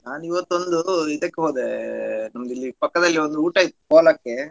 ನಾನಿವತ್ತೊಂದು ಇದಕ್ ಹೋದೆ ನಮ್ದಿಲ್ಲಿ ಪಕ್ಕದಲ್ಲಿ ಒಂದ್ ಊಟ ಇತ್ ಕೋಲ ಕ್ಕೆ.